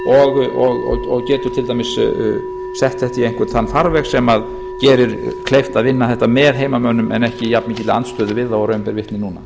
og getur til dæmis sett þetta í einhvern þann farveg sem gerir kleift að vinna þetta með heimamönnum en ekki í jafnmikilli andstöðu við þá og raun ber vitni núna